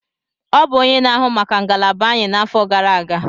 Ọ bụ onye na-ahụ maka ngalaba anyị n'afọ gara aga.